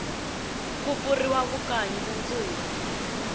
ku pfuriwa vukanyi mundzuku